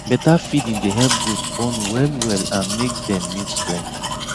better feeding dey help goat born well well and make dem milk plenty